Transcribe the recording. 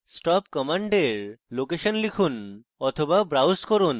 mysql stop command এর location লিখুন বা browse করুন